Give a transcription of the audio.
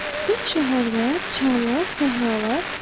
Bəs şəhərlər, çaylar, səhralar?